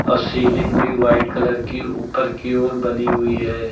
और सीलिंग भी white colour की ऊपर की ओर बनी हुई है।